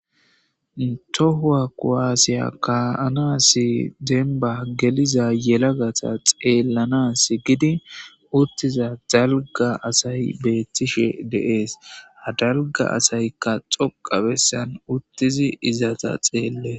tohuwa kuwasiya ka7anasi denba geliza yelagata xeellanas gidi uttiza dalga asay beettishe de7ees ha dalga asaykka doqqa bessan uttidi izeta xeellees